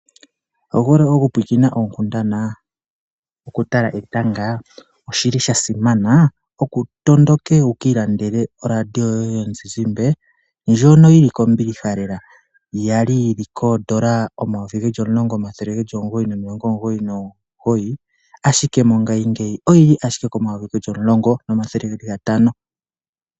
Owuhole okupulakena oonkundathana, okutala etanga? Oshili shasimana wutondoke wukiilandele oradio yoye yomuzizimba ndjono yili kombilihalela yali yili koodola omayovi geli omulongo omathele geli omugoyi nomilongo omugoyi nomugoyi, ashike mongashingeyi oyili ashike komayovi geli omulongo nomathele gatano.